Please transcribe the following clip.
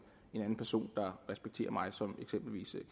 en anden person der respekterer mig som